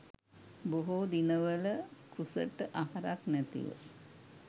බොහෝ දිනවල කුසට අහරක් නැතිව